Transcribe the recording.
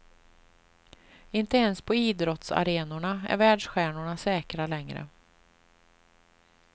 Inte ens på idrottsarenorna är världsstjärnorna säkra längre.